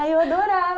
Aí eu adorava.